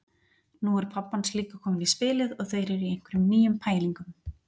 Nú er pabbi hans líka kominn í spilið og þeir eru í einhverjum nýjum pælingum.